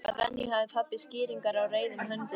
Að venju hafði pabbi skýringar á reiðum höndum.